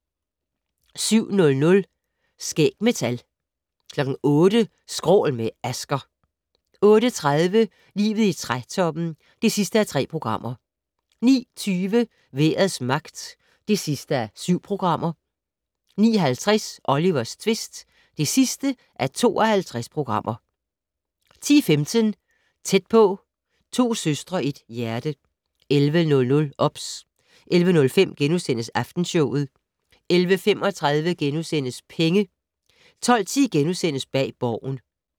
07:00: Skæg med tal 08:00: Skrål - med Asger 08:30: Livet i trætoppen (3:3) 09:20: Vejrets magt (7:7) 09:50: Olivers tvist (52:52) 10:15: Tæt på: To søstre, et hjerte 11:00: OBS 11:05: Aftenshowet * 11:35: Penge * 12:10: Bag Borgen *